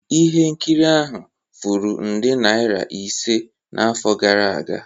Ihe nkiri ahụ furu nde naira ise n'afọ gara aga